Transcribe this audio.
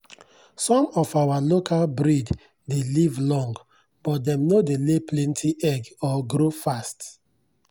some of our local breed dey live long but dem no dey lay plenty egg or grow fast.